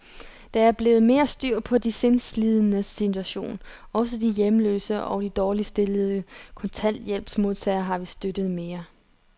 Der er blevet mere styr på de sindslidendes situation. Også de hjemløse og de dårligt stillede kontanthjælpsmodtagere har vi støttet mere.